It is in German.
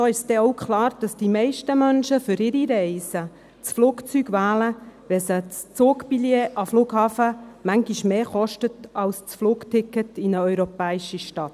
So ist klar, dass die meisten Menschen für ihre Reisen das Flugzeug wählen, wenn das Zugbillett an den Flughafen sie manchmal mehr kostet als das Flugticket in eine europäische Stadt.